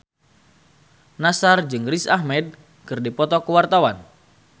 Nassar jeung Riz Ahmed keur dipoto ku wartawan